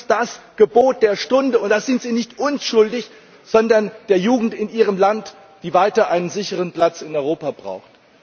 Das ist das Gebot der Stunde, und das sind Sie nicht uns schuldig, sondern der Jugend in Ihrem Land, die weiter einen sicheren Platz in Europa braucht.